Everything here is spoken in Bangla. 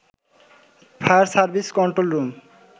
fire service control room